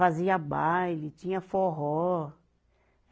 Fazia baile, tinha forró.